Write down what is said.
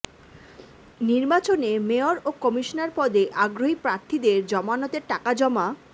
নির্বাচনে মেয়র ও কমিশনার পদে আগ্রহী প্রার্থীদের জামানতের টাকা জমা